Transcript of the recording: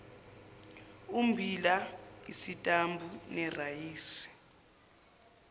ummbila isitambu irayisi